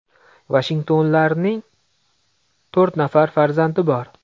Vashingtonlarning to‘rt nafar farzandi bor.